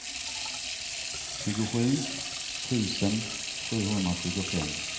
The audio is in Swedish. tjugosju tusen sjuhundratjugofem